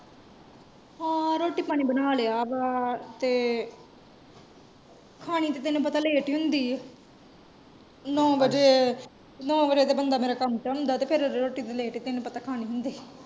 ਹਾਂ ਰੋਟੀ ਪਾਣੀ ਬਣਾ ਲਿਆ ਵਾ ਤੇ, ਖਾਣੀ ਤੇ ਤੈਨੂੰ ਪਤਾ ਲੇਟ ਹੀ ਹੁੰਦੀ ਏ, ਨੌਂ ਵਜੇ ਨੌਂ ਵਜੇ ਤੇ ਬੰਦਾ ਮੇਰਾ ਕੰਮ ਤੋਂ ਆਉਂਦਾ ਤੇ ਰੋਟੀ ਤੇ ਲੇਟ ਫੇਰ ਤੈਨੂੰ ਪਤਾ ਖਾਣੀ ਹੁੰਦੀ।